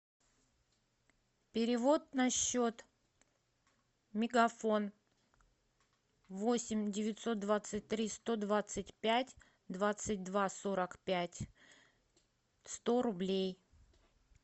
перевод на счет мегафон восемь девятьсот двадцать три сто двадцать пять двадцать два сорок пять сто рублей